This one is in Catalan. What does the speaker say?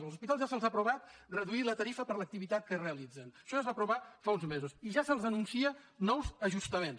als hospitals ja se’ls ha aprovat reduir la tarifa per l’activitat que realitzen això ja es va aprovar fa uns mesos i ja se’ls anuncien nous ajustaments